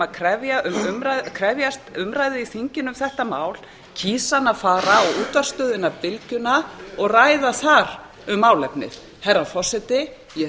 að krefjast umræðu í þinginu um þetta mál kýs hann að fara á útvarpsstöðina bylgjuna og ræða þar um málefnið herra forseti ég